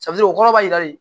o kɔrɔ b'a jira de